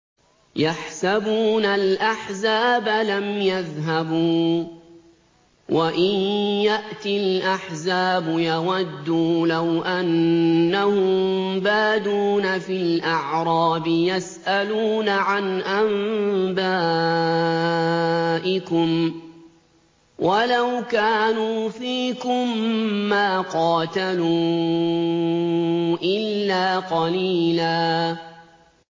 يَحْسَبُونَ الْأَحْزَابَ لَمْ يَذْهَبُوا ۖ وَإِن يَأْتِ الْأَحْزَابُ يَوَدُّوا لَوْ أَنَّهُم بَادُونَ فِي الْأَعْرَابِ يَسْأَلُونَ عَنْ أَنبَائِكُمْ ۖ وَلَوْ كَانُوا فِيكُم مَّا قَاتَلُوا إِلَّا قَلِيلًا